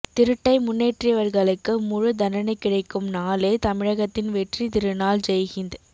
திருட்டை முன்னேற்றியவர்களுக்கு முழு தண்டனை கிடைக்கும் நாளே தமிழகத்தின் வெற்றி திருநாள் ஜெய் ஹிந்த்